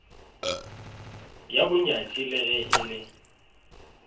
ya bonyatši le ge ele